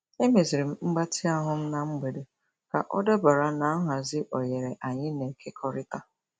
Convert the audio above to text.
Emeziri m mgbatị ahụ m na mgbede ka ọ dabara na nhazi oghere anyị na-ekekọrịta.